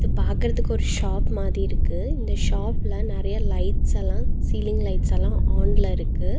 பாக்கற்துக்கு ஒரு ஷாப் மாதி இருக்கு இந்த ஷாப்ல நெறைய லைட்ஸ்ஸெல்லா சீலிங் லைட்ஸ்ஸெல்லா ஆன்ல இருக்கு.